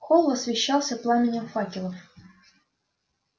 холл освещался пламенем факелов